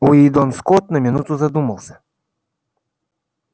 уидон скотт на минуту задумался